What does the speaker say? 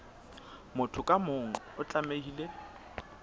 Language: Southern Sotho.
motho ka mong o tlamehile